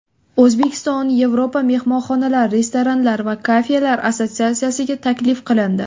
O‘zbekiston Yevropa mehmonxonalar, restoranlar va kafelar assotsiatsiyasiga taklif qilindi.